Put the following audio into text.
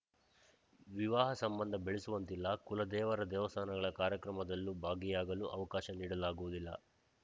ವಿವಾಹ ಸಂಬಂಧ ಬೆಳೆಸುವಂತಿಲ್ಲ ಕುಲದೇವರ ದೇವಸ್ಥಾನಗಳ ಕಾರ್ಯಕ್ರಮದಲ್ಲೂ ಭಾಗಿಯಾಗಲು ಅವಕಾಶ ನೀಡಲಾಗುವುದಿಲ್ಲ